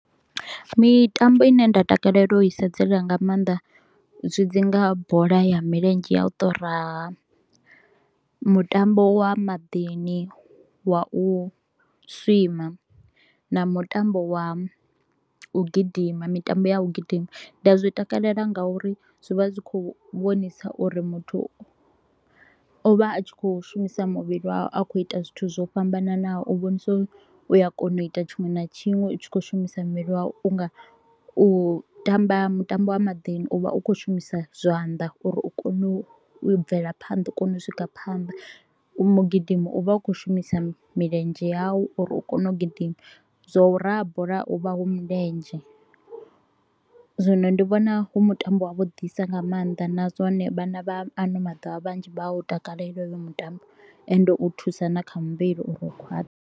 Mitambo ine nda takalela u i sedzela nga maanḓa zwi dzi nga bola ya milenzhe ya u to u raha, mutambo wa maḓini, wa u swima na mutambo wa u gidima, mitambo ya u gidima. Ndi a zwi takalela nga uri zwi vha zwi kho u vhonisa uri muthu o vha a tshi kho u shumisa muvhili wawe a kho u ita zwithu zwo fhambananaho u vhonisa uri u a kona u ita tshiṅwe na tshiṅwe u tshi kho u shumisa muvhili wau. U nga u tamba mutambo wa maḓini, u vha u kho u shumisa zwanḓa uri u kone u bvela phanḓa u kone u swika phanḓa. U mu gidimi, u vha u kho u shumisa milenzhe yau uri u kone u gidima, zwa u raha bola hu vha hu milenzhe. Zwino ndi vhona hu mutambo wa vhuḓisa nga maanḓa na zwone vhana vha ano maḓuvha vhanzhi vha a u takalela hoyo mutambo ende u thusa na kha muvhili uri u khwaṱhe.